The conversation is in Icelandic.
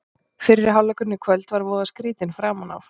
Fyrri hálfleikurinn í kvöld var voða skrýtinn framan af.